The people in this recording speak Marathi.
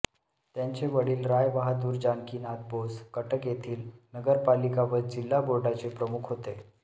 त्यांचे वडिल रायबहादूर जानकीनाथ बोस कटक येथील नगरपालिका व जिल्हा बोर्डाचे प्रमुख होते